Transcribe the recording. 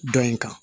Dɔ in kan